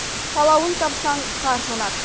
қалауын тапсаң қар жанады